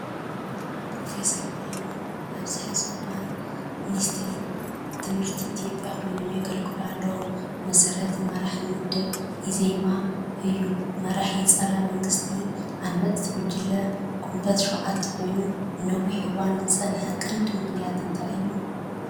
ፕሮፌሰር ብርሃኑ ኣብዚ ሕዚ እዋን ሚኒስትር ትምህርቲ ኢትዮጵያ ኮይኖም የገልግሉ ኣለው፤ መስራትን መራሒን ውድብ (እዘማ) እዩ። መራሒ ጸረ መንግስቲ ዓመጽቲ ጉጅለ ጊንቦት 7 ኮይኑ ንነዊሕ እዋን ዝጸንሓሉ ቀንዲ ምኽንያት እንታይ ነይሩ?